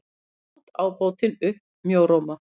át ábótinn upp mjóróma.